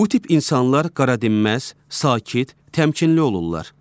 Bu tip insanlar qaradinməz, sakit, təmkinli olurlar.